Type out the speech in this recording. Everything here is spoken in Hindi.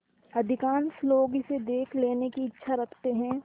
अधिकांश लोग इसे देख लेने की इच्छा रखते हैं